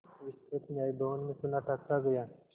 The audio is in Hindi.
विस्तृत न्याय भवन में सन्नाटा छा गया